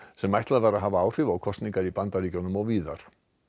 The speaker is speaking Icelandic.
sem ætlað var að hafa áhrif á kosningar í Bandaríkjunum og víðar